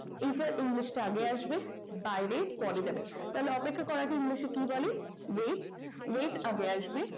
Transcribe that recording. এটার english টা আগে আসবে বাইরে পরে যাবে। তাহলে অপেক্ষা করার আগে english এ কি বলে wait wait আগে আসবে